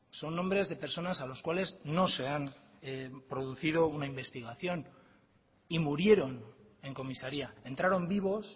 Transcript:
son nombres de personas a los cuales no sean producido una investigación y murieron en comisaría entraron vivos